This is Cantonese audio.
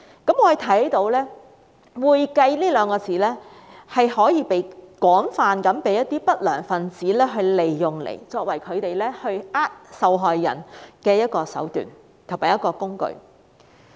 我們看到"會計"這兩個字被一些不良分子廣泛利用，作為他們欺騙受害人的一種手段和工具。